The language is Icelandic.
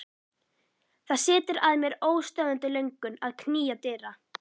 Það setur að mér óstöðvandi löngun að knýja dyra.